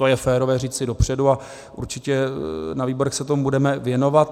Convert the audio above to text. To je férové říci dopředu a určitě na výborech se tomu budeme věnovat.